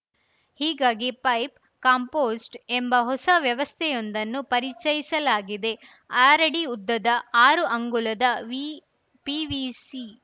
ಹೀಗಾಗಿ pipe compost ಎಂಬ ಹೊಸ ವ್ಯವಸ್ಥೆಯೊಂದನ್ನು ಪರಿಚಯಿಸಲಾಗಿದೆ ಆರಡಿ ಉದ್ದದ ಆರು ಅಂಗುಲದ ವಿಪಿವಿಸಿ